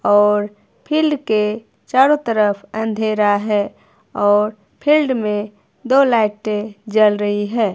और फील्ड के चारों तरफ अंधेरा है और फील्ड में दो लाइटें जल रही है।